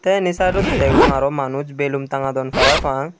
te endi sidedodi degong aro manuj belum tangadon parapang.